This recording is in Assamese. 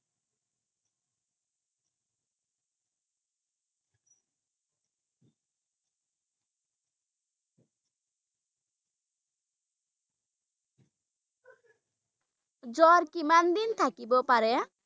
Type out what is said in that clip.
জ্বৰ কিমান দিন থাকিব পাৰে?